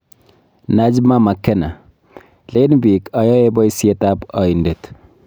Najma Makena: Leen biik ayae boisyetab aindet